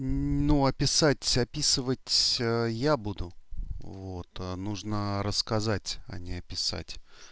ну описать описывать я буду вот нужно рассказать о не описать